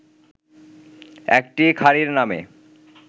একটি খাঁড়ির নামে